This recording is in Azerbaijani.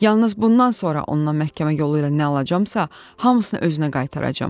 Yalnız bundan sonra ondan məhkəmə yolu ilə nə alacamsa, hamısını özünə qaytaracağam.